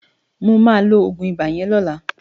Mo ma lo Ogun iba yen lola